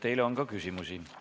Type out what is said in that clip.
Teile on küsimusi.